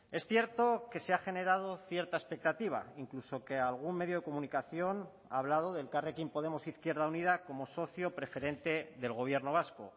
es cierto que se ha generado cierta expectativa incluso que algún medio de comunicación ha hablado de elkarrekin podemos izquierda unida como socio preferente del gobierno vasco